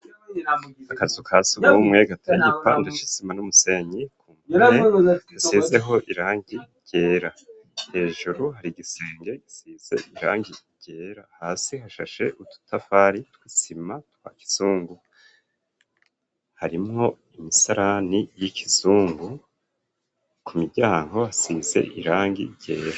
Akazu ka sugumwe ga tanipa ndashisima n'umusenyi ku mire hasizeho irangi ryera hejuru hari gisenge gisize irangi ryera hasi hashashe ututafari twisima twa kizungu harimo imisarani y'ikizungu ku miryango hasize irangi ryera.